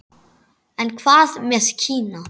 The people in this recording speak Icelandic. En hvað með Kína?